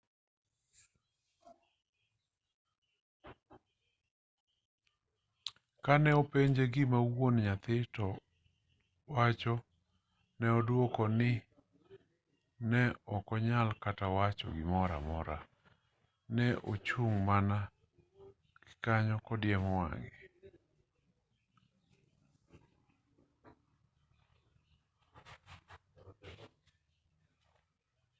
ka ne openje gima wuon nyathi to wacho ne odwoko ni ne ok onyal kata wacho gimoro amora ne ochung' mana kanyo kodiemo wang'e